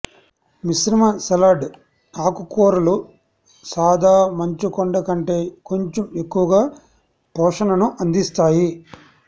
మిశ్రమ సలాడ్ ఆకుకూరలు సాదా మంచుకొండ కంటే కొంచం ఎక్కువగా పోషణను అందిస్తాయి